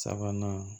Sabanan